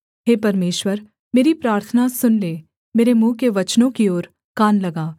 हे परमेश्वर मेरी प्रार्थना सुन ले मेरे मुँह के वचनों की ओर कान लगा